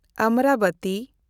Amravati